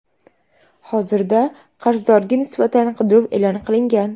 Hozirda qarzdorga nisbatan qidiruv e’lon qilingan.